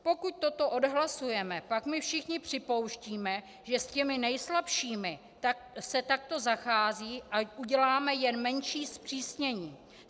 Pokud toto odhlasujeme, pak my všichni připouštíme, že s těmi nejslabšími se takto zachází, a uděláme jen menší zpřísnění.